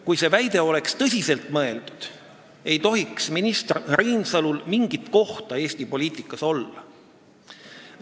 Kui see oleks tõsiselt mõeldud, ei tohiks minister Reinsalul mingit kohta Eesti poliitikas olla.